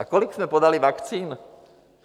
A kolik jsme podali vakcín?